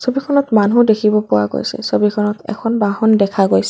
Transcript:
ছবিখনত মানুহ দেখিব পোৱা গৈছে ছবিখনত এখন বাহন দেখা গৈছে।